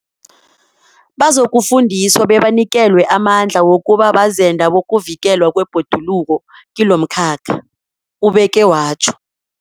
Bazokufundiswa bebanikelwe amandla wokuba bazenda bokuvikelwa kwebhoduluko kilomkhakha, ubeke watjho.